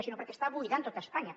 sinó perquè està buidant tot espanya